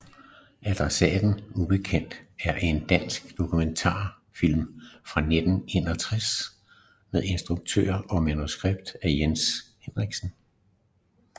Adressaten ubekendt er en dansk dokumentarfilm fra 1961 med instruktion og manuskript af Jens Henriksen